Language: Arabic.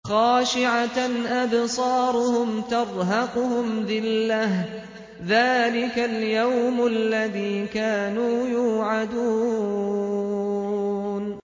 خَاشِعَةً أَبْصَارُهُمْ تَرْهَقُهُمْ ذِلَّةٌ ۚ ذَٰلِكَ الْيَوْمُ الَّذِي كَانُوا يُوعَدُونَ